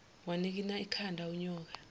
wanikina ikhanda unyoka